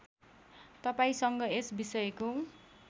तपाईँसँग यस विषयको